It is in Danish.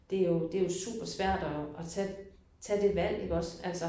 Det jo det jo super svært at at tage tage det valg iggås altså